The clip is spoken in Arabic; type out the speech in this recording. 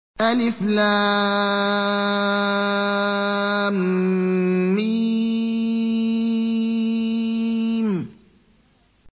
الم